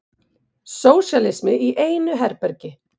Sósíalismi í einu herbergi.